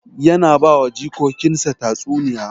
Yana ba wa jikokin sa tatsuniya